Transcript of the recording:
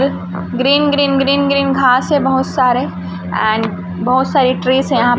green green green green घास है बहुत सारे एंड बहोत सारी ट्रिज है यहां पे --